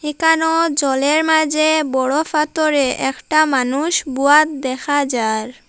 কানো জলের মাঝে বড়ো ফাতরে একটা মানুষ বোয়াত দেখা যার।